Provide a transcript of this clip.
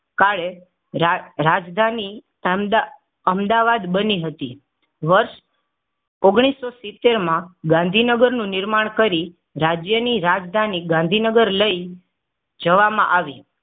કાળે રાજ રાજધાની અમદા અમદાવાદ બની હતી વર્ષ ઓગણીસો સીતેર માં ગાંધીનગર નું નિર્માણ કરી. રાજ્યની રાજધાની ગાંધીનગર લઇ જવામાં આવી.